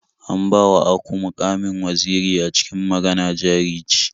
An bawa aku muƙamin waziri a cikin Magana Jari Ce.